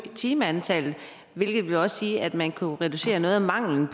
timeantallet hvilket også vil sige at man kunne reducere noget af manglen